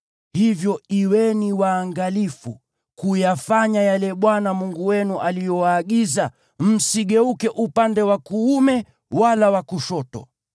Hivyo kuweni waangalifu kuyafanya yale Bwana Mungu wenu aliyowaagiza; msigeuke upande wa kuume wala wa kushoto.